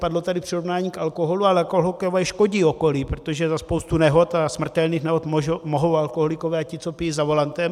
Padlo tady přirovnání k alkoholu, ale alkoholikové škodí okolí, protože za spoustu nehod a smrtelných nehod mohou alkoholikové a ti, co pijí za volantem.